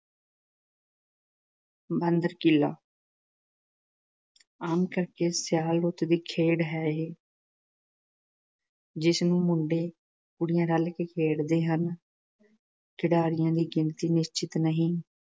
‘ਬਾਂਦਰ-ਕੀਲਾ’ ਆਮ ਕਰ ਕੇ ਸਿਆਲ ਰੁੱਤ ਦੀ ਖੇਡ ਹੈ ਜਿਸ ਨੂੰ ਮੁੰਡੇ-ਕੁੜੀਆਂ ਰਲ ਕੇ ਖੇਡਦੇ ਹਨ। ਖਿਡਾਰੀਆਂ ਦੀ ਗਿਣਤੀ ਨਿਸ਼ਚਿਤ ਨਹੀਂ।